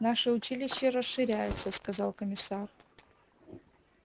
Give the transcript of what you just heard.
наше училище расширяется сказал комиссар